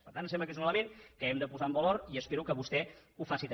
per tant em sembla que és un element que hem de posar en valor i espero que vostè ho faci també